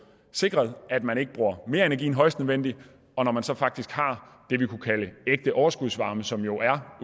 sikret at man ikke bruger mere energi end højst nødvendigt og når man så faktisk har det vi kunne kalde ægte overskudsvarme som jo er